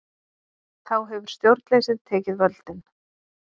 Þá hefur stjórnleysið tekið völdin.